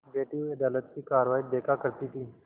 बैठी हुई अदालत की कारवाई देखा करती थी